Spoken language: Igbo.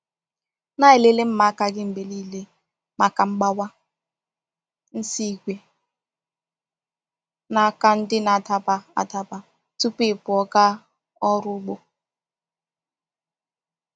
Na-elele mma aka gị mgbe niile maka mgbawa, nsị ígwè, na aka ndị na-adaba adaba tupu ị pụọ gaa ọrụ ugbo.